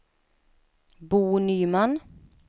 Bo Nyman